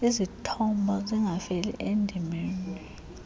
izithombo zingafeli endimeni